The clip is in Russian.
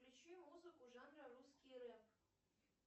включи музыку жанра русский рэп